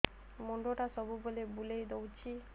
ମୁଣ୍ଡଟା ସବୁବେଳେ ବୁଲେଇ ଦଉଛି